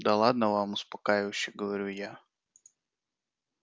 да ладно вам успокаивающе говорю я